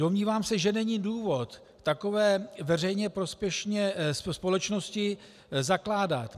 Domnívám se, že není důvod takové veřejně prospěšné společnosti zakládat.